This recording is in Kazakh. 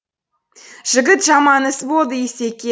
жігіт жаман іс болды исеке